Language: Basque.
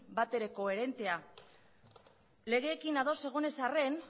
batere koherentea legeekin ados egon ez arren